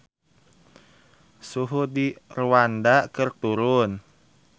Suhu di Rwanda keur turun